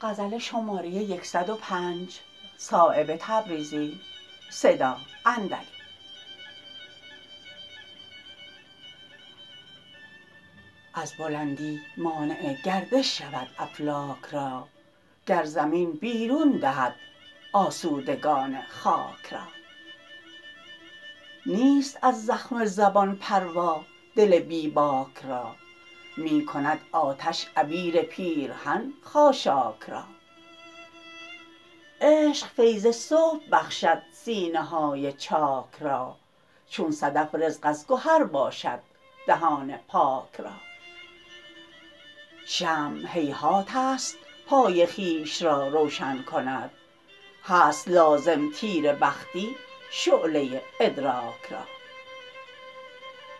از بلندی مانع گردش شود افلاک را گر زمین بیرون دهد آسودگان خاک را نیست از زخم زبان پروا دل بی باک را می کند آتش عبیر پیرهن خاشاک را عشق فیض صبح بخشد سینه های چاک را چون صدف رزق از گهر باشد دهان پاک را شمع هیهات است پای خویش را روشن کند هست لازم تیره بختی شعله ادراک را